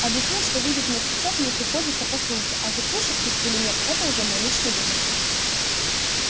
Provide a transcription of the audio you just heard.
объяснил что видеть мертвецов мне приходится по службе а вот слушать их или нет это уже мой личный выбор